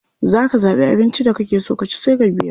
Za ka zaɓi abinci da kake so ka ci sai ka biya.